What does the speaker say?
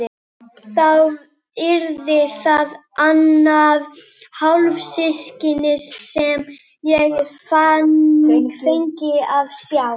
Þá yrði það annað hálfsystkinið sem ég fengi að sjá.